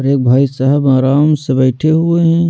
एक भाई साहब आराम से बैठे हुए हैं।